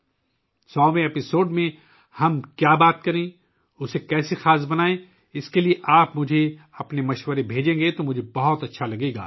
مجھے اچھا لگے گا اگر آپ مجھے اپنی تجاویز بھیجیں کہ ہمیں 100 ویں ایپی سوڈ میں کس چیز کے بارے میں بات کرنی چاہئے اور اسے کس طرح خاص بنانا ہے